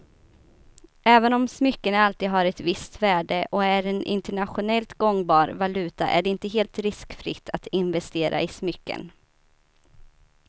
Även om smycken alltid har ett visst värde och är en internationellt gångbar valuta är det inte helt riskfritt att investera i smycken.